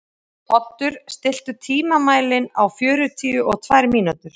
Oddur, stilltu tímamælinn á fjörutíu og tvær mínútur.